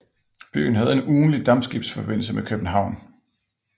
Byen havde en ugentlig dampskibsforbindelse med København